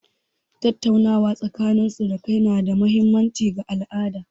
Tattaunawa tsakanin surukai na da mahimmanci ga al'adu.